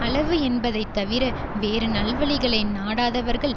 அளவு என்பதை தவிர வேறு நல்வழிகளை நாடாதவர்கள்